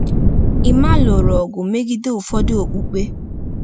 Emma lụrụ ọgụ megide ụfọdụ okpukpe.